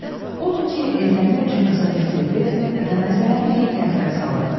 Odur ki, evlənmək üçün qıza təklif etmir və məsələni hey təxirə salırdı.